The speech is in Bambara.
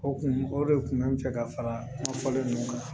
O kun o de kun mɛ n fɛ ka fara n ka fɔli ninnu kan